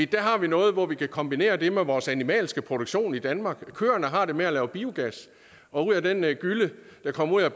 der har vi noget hvor vi kan kombinere det med vores animalske produktion i danmark køerne har det med at lave biogas og ud af den gylle der kommer ud af